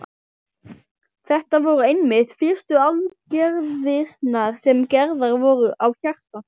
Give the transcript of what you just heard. Þetta voru einmitt fyrstu aðgerðirnar sem gerðar voru á hjarta.